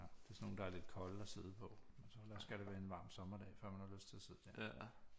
Ja det er sådan nogle der er lidt kolde at sidde på men så skal der være en varm sommerdag før man har lyst til at sidde der